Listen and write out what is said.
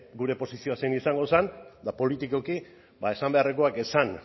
gure posizioa zein izango zen eta politikoki esan beharrekoak esan